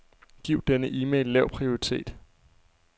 Giv denne e-mail lav prioritet.